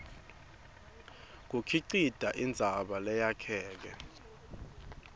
bukhicite indzaba leyakheke